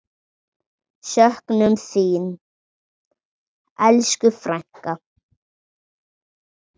Söknum þín, elsku frænka.